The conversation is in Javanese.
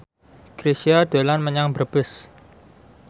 Chrisye dolan menyang Brebes